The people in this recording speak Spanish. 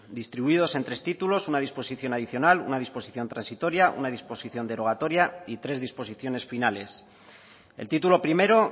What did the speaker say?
distribuidos en tres títulos una disposición adicional una disposición transitoria una disposición derogatoria y tres disposiciones finales el título primero